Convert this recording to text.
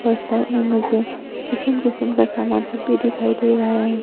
इस साइड में मुझे किस्म किस्म का सामान सब भी दिखाई दे रहा है ।